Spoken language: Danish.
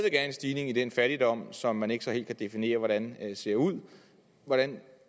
er en stigning i den fattigdom som man så ikke helt kan definere hvordan ser ud hvordan